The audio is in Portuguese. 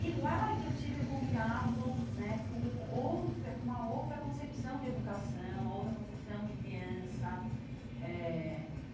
E lá é que eu tive o contato né com outra com uma outra concepção de educação, uma outra concepção de criança eh.